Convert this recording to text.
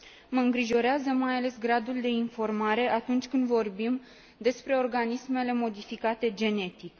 Mă îngrijorează mai ales gradul de informare atunci când vorbim despre organismele modificate genetic.